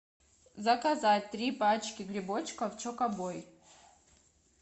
заказать три пачки грибочков чоко бой